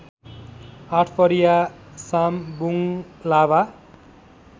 आठपरिया साम बुङ्लाबा